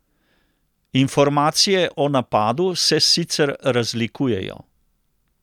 Informacije o napadu se sicer razlikujejo.